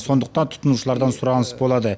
сондықтан тұтынушылардан сұраныс болады